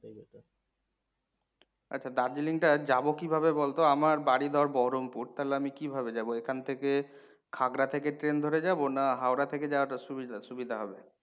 আছা দার্জিলিং টায়ে যাবো কিভাবে বলতো। আমার বাড়ি ধর বহরমপুর তালে আমি কিভাবে যাবো? এখান থেকে থাকড়া থেকে ট্রেন ধরে যাবো না হাওড়া থেকে যাওয়াটা সুবিধা সুবিধা হবে?